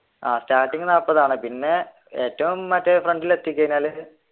ആഹ് starting നാല്പതാണ് പിന്നെ ഏറ്റോം മറ്റേ front ൽ എത്തി കഴിഞ്ഞാൽ